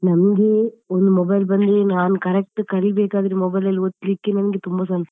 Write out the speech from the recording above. ನಮ್ಗೆ ಒಂದು mobile ಬಂದ್ಮೇಲೆ ನಾನು correct ಕಲೀಬೇಕಾದ್ರೆ mobile ಅಲ್ಲಿ ಒತ್ತಲಿಕ್ಕೆ ನಮಗೆ ತುಂಬಾ ಸಮಯ